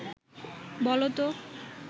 বল তো